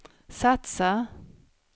satsar